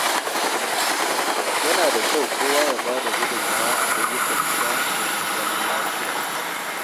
Yana da kyau kowa ya ba da gudunmawa a ayyukan gida domin zaman lafiya.